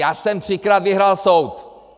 Já jsem třikrát vyhrál soud!